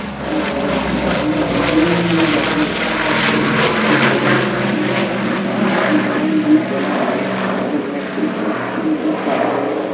और इस घर के अगल-बगल बीम भी भर रही है और एक व्यक्ति बॉल अपने हाथ में पानी की बॉल भी चला रहा है। बगल में एक व्यक्ति भी खड़ा हुआ है।